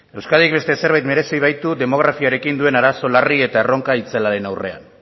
euskadik beste zerbait merezi baitu demografiarekin duen arazo larri eta erronka itzelaren aurrean